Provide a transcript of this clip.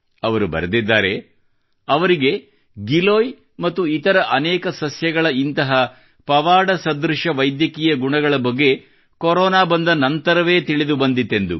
ಅವರು ಬರೆದಿದ್ದಾರೆ ಅವರಿಗೆ ಗಿಲೋಯ್ ಮತ್ತು ಇತರ ಅನೇಕ ಸಸ್ಯಗಳ ಇಂತಹ ಪವಾಡಸದೃಶ ವೈದ್ಯಕೀಯ ಗುಣಗಳ ಬಗ್ಗೆ ಕೊರೊನಾ ಬಂದ ನಂತರವೇ ತಮಗೆ ತಿಳಿದು ಬಂದಿತೆಂದು